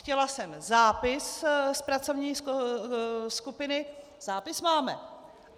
Chtěla jsem zápis z pracovní skupiny, zápis máme.